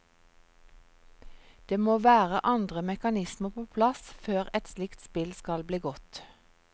Det må være andre mekanismer på plass før et slikt spill skal bli godt.